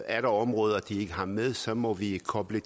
er der områder de ikke har med så må vi koble